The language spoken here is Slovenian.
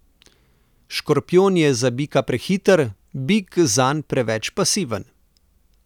Škorpijon je za bika prehiter, bik zanj preveč pasiven.